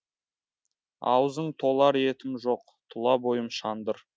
аузың толар етім жоқ тұла бойым шандыр